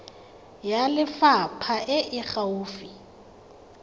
ya lefapha e e gaufi